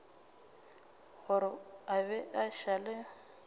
gore a be a šale